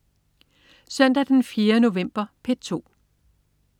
Søndag den 4. november - P2: